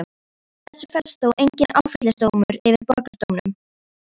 Í þessu felst þó enginn áfellisdómur yfir borgardómurum.